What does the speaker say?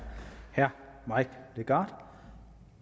herre mike legarth